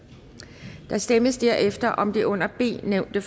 der stemmes derefter om det under b nævnte